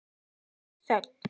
Stutt þögn.